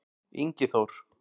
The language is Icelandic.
Ingi Þór-